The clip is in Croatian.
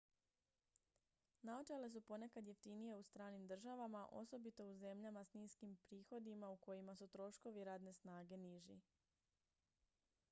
naočale su ponekad jeftinije u stranim državama osobito u zemljama s niskim prihodima u kojima su troškovi radne snage niži